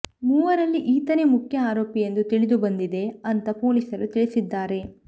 ಮೂವರಲ್ಲಿ ಈತನೇ ಮುಖ್ಯ ಆರೋಪಿ ಎಂದು ತಿಳಿದುಬಂದಿದೆ ಅಂತ ಪೊಲೀಸರು ತಿಳಿಸಿದ್ದಾರೆ